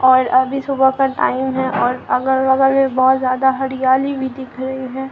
और अभी सुबह का टाइम है और अगल बगल में बहुत ज्यादा हरियाली भी दिख रही है।